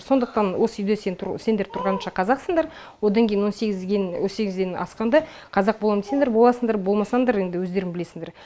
сондықтан осы үйде сен сендер тұрғанша қазақсыңдар одан кейін он сегізден асқанда қазақ болам десеңдер боласыңдар болмасаңдар енді өздерің білесіңдер